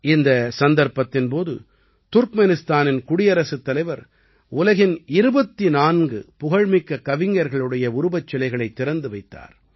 இந்தச் சந்தர்ப்பத்தின் போது துர்க்மெனிஸ்தானின் குடியரசுத் தலைவர் உலகின் 24 புகழ்மிக்க கவிஞர்களுடைய உருவச்சிலைகளைத் திறந்து வைத்தார்